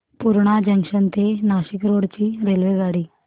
Purna junction ते Nashik road ची रेल्वेगाडी